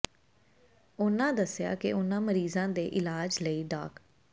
ਉਨ੍ਹਾਂ ਦੱਸਿਆ ਕਿ ਇਨ੍ਹਾਂ ਮਰੀਜ਼ਾਂ ਦੇ ਇਲਾਜ ਲਈ ਡਾ